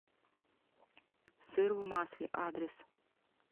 сыр в масле адрес